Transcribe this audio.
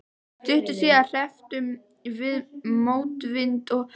Stuttu síðar hrepptum við mótvind og töfðumst.